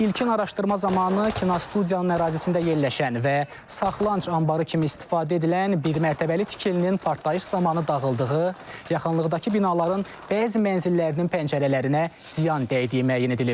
ilkin araşdırma zamanı kinostudiyanın ərazisində yerləşən və saxlanıc anbarı kimi istifadə edilən bir mərtəbəli tikilinin partlayış zamanı dağıldığı, yaxınlıqdakı binaların bəzi mənzillərinin pəncərələrinə ziyan dəydiyi müəyyən edilib.